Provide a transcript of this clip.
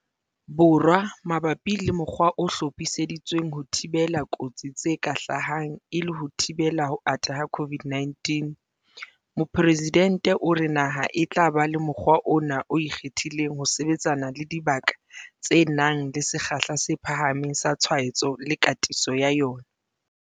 Borwa mabapi le mokgwa o hlophiseditsweng ho thibela kotsi tse ka hlahang e le ho thibela ho ata ha COVID-19, Mopresidente o re naha e tla ba le mokgwa ona o ikgethileng ho sebetsana le dibaka tse nang le sekgahla se phahameng sa tshwaetso le katiso ya yona.